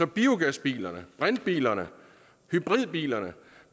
biogasbilerne brintbilerne og hybridbilerne